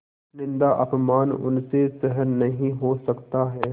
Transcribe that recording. निन्दाअपमान उनसे सहन नहीं हो सकता है